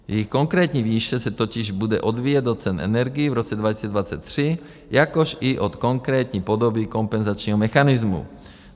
Jejich konkrétní výše se totiž bude odvíjet od cen energií v roce 2023, jakož i od konkrétní podoby kompenzačního mechanismu.